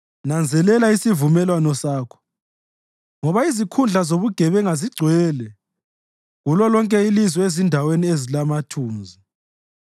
Nanzelela isivumelwano sakho, ngoba izikhundla zobugebenga zigcwele kulolonke ilizwe ezindaweni ezilamathunzi.